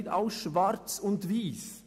Nicht alles ist schwarz und weiss.